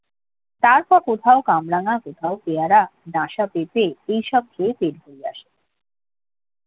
তারপর কোথাও কামরাঙা কোথাও পেয়ারা ডাঁশা পেঁপে এইসব খেয়ে পেট ভরিয়ে আসে